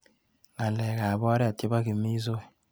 Ng'alekap oret chebo kimisoi.